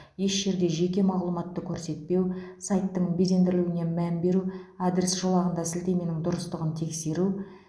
еш жерде жеке мағлұматты көрсетпеу сайттың безендірілуіне мән беру адрес жолағында сілтеменің дұрыстығын тексеру